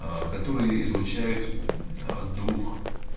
аа которые изучают аа двух